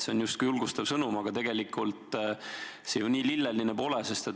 See on justkui julgustav sõnum, aga tegelikult see ju nii lilleline pole.